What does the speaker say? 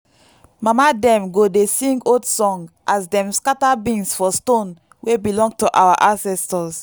mama dem go dey sing old song as dem scatter beans for stone wey belong to our ancestors.